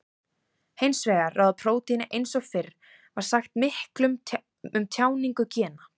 Hins vegar ráða prótín eins og fyrr var sagt miklu um tjáningu gena.